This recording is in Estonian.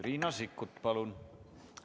Riina Sikkut, palun!